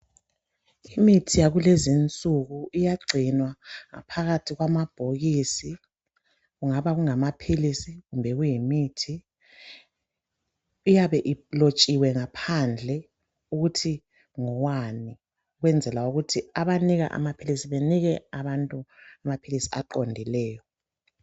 Imithi yakulezinsuku iyagcinwa ngaphakathi kwamabhokisi. Kungaba kungamaphilisi kumbe kuyimithi ,iyabe ilotshiwe ngaphandle ukuthi ngowani .Ukwenzela ukuthi abanika amaphilisi benike abantu amaphilisi aqondileyo.